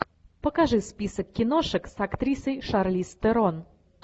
покажи список киношек с актрисой шарлиз терон